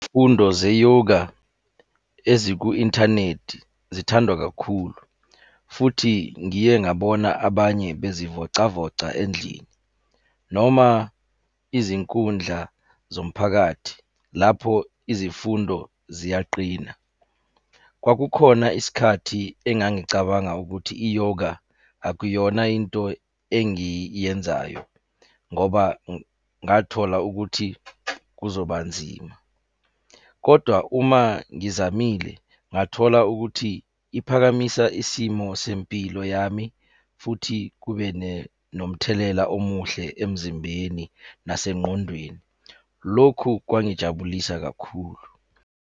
Fundo ze-yoga eziku-inthanethi zithandwa kakhulu, futhi ngiye ngabona abanye bezivocavoca endlini, noma izinkundla zomphakathi lapho izifundo ziyaqina. Kwakukhona isikhathi engangicabanga ukuthi i-yoga akuyona into engiyenzayo, ngoba ngathola ukuthi kuzoba nzima, kodwa uma ngizamile, ngathola ukuthi iphakamisa isimo sempilo yami, futhi kube nomthelela omuhle emzimbeni nasengqondweni. Lokhu kwangijabulisa kakhulu.